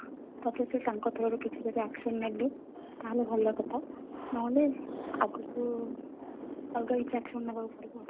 ତାପରେ ସିଏ ତାଙ୍କ through ରୁ ଯଦି କିଛି action ନେଲେ ତାହେଲେ ଭଲ କଥା ନହେଲେ ଆଗକୁ ଅଲଗା କିଛି action ନବାକୁ ପଡିବ ଆଉ